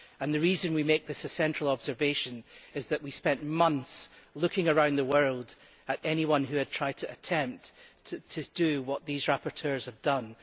The reason we make this a central observation is that we spent months looking around the world at anyone who had tried to do what these rapporteurs have done.